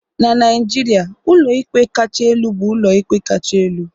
na Naijiria, ụlọikpe kacha elu bụ ụlọikpe kacha elu